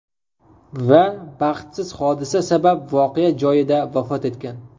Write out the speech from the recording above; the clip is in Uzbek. Va baxtsiz hodisa sabab voqea joyida vafot etgan.